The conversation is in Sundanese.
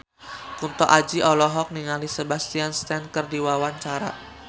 Kunto Aji olohok ningali Sebastian Stan keur diwawancara